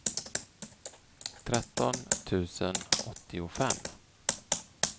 tretton tusen åttiofem